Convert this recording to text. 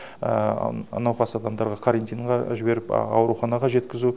науқас адамдарға карантинға жіберіп ауруханаға жеткізу